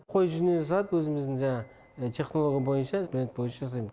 қой жүнінен жасалды өзіміздің технология бойынша бренд бойынша жасайм